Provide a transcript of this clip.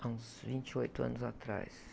Uns vinte e oito anos atrás.